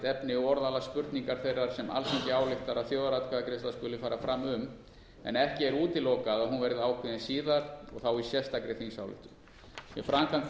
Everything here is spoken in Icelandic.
efni og orðalag spurningar þeirrar sem alþingi ályktar að þjóðaratkvæðagreiðsla skuli fara fram um en ekki er útilokað að hún verði ákveðin síðar og þá í sérstakri þingsályktun við framkvæmd